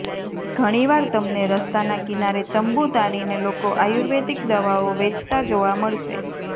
ઘણીવાર તમને રસ્તાના કિનારે તંબૂ તાંણીને લોકો આયુર્વેદિક દવાઓ વેચતા જોવા મળશે